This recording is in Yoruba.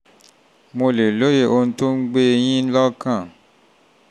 mo lè lóye ohun tó ń gbé e yín lọ́kàn